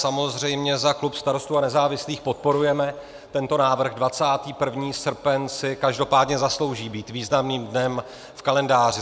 Samozřejmě za klub Starostů a nezávislých podporujeme tento návrh, 21. srpen si každopádně zaslouží být významným dnem v kalendáři.